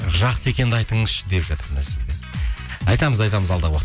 жақсы екенді айтыңызшы деп жатыр мына жерде айтамыз айтамыз алда